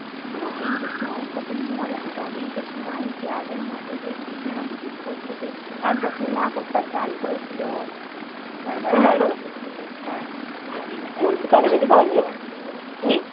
আগে ঈদ এর সময় কত মজা হতো আগে ঈদ এর সময় club এর মাঠিতে কিছু না কিছু সেই আগের মাসে সেই কিছু না কিছু করতো সেই একবার সেই মাকড়সার জাল করেছিল তারপরে কি